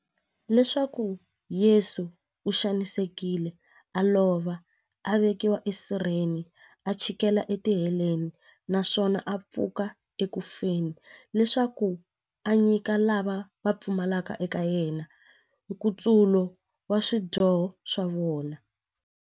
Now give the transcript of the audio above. Leswaku Yesu u xanisekile, a lova, a vekiwa esirheni, a chikela etiheleni, naswona a pfuka eku feni, leswaku a nyika lava va pfumelaka eka yena, nkutsulo wa swidyoho swa vona.